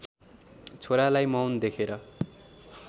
छोरालाई मौन देखेर